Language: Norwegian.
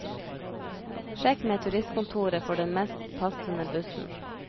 Sjekk med turistkontoret for den mest passende bussen.